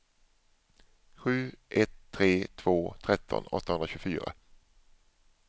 sju ett tre två tretton åttahundratjugofyra